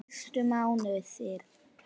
Fyrstu mánuðir í